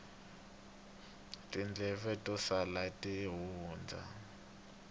tindleve to sala ti hundza